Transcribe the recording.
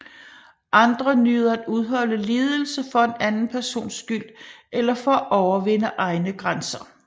Andre nyder at udholde lidelse for en anden persons skyld eller for at overvinde egne grænser